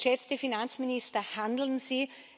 Geschätzte Finanzminister, handeln Sie!